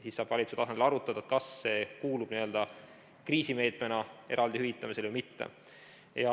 Siis saab valitsuse tasemel arutada, kas see kuulub kriisimeetmena eraldi hüvitamisele või mitte.